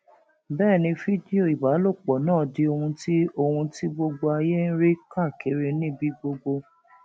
bẹẹ ni fídíò ìbálòpọ náà di ohun tí ohun tí gbogbo ayé ń rí káàkiri níbi gbogbo